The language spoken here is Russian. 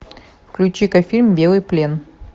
включи ка фильм белый плен